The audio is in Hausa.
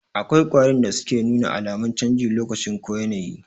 Akwai ƙwarin da suke nuna alamun canjin lokacin ko yanayi